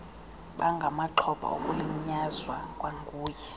bangamaxhoba okulinyazwa kwanguye